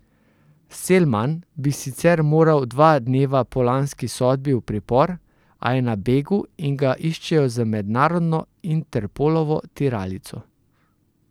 Selman bi sicer moral dva dneva po lanski sodbi v pripor, a je na begu in ga iščejo z mednarodno Interpolovo tiralico.